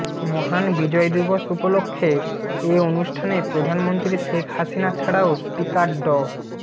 মহান বিজয় দিবস উপলক্ষে এ অনুষ্ঠানে প্রধানমন্ত্রী শেখ হাসিনা ছাড়াও স্পিকার ড